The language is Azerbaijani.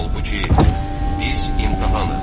Halbuki, biz imtahanıq.